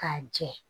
K'a jɛ